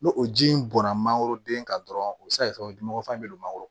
N'o o ji in bɔnna mangoro den kan dɔrɔn o bɛ se ka kɛ o dunmɔgɔ fan bɛ don mangoro la